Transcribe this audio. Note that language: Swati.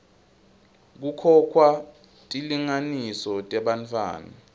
kukhokhwa tilinganiso tebantfwana